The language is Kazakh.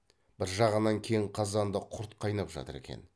бір жағынан кең қазанда құрт қайнап жатыр екен